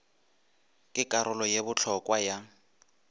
ke karolo ye bohlokwa ya